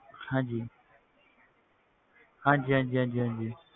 ਹਾਂਜੀ ਹਾਂਜੀ ਹਾਂਜੀ ਹਾਂਜੀ ਹਾਂਜੀ